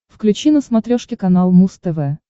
включи на смотрешке канал муз тв